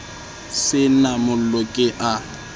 se na mollo ke a